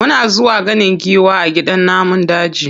Muna zuwa ganin giwa a gidan namun daji.